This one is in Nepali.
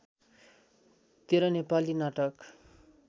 १३ नेपाली नाटक